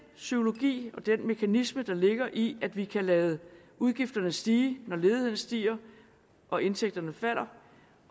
psykologi og den mekanisme der ligger i at vi kan lade udgifterne stige når ledigheden stiger og indtægterne falder